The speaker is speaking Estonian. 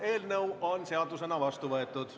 Eelnõu on seadusena vastu võetud.